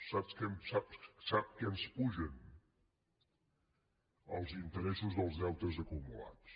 sap què ens pugen els interessos dels deutes acumulats